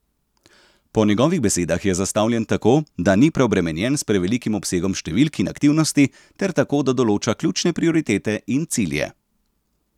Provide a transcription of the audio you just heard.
Po njegovih besedah je zastavljen tako, da ni preobremenjen s prevelikim obsegom številk in aktivnosti ter tako, da določa ključne prioritete in cilje.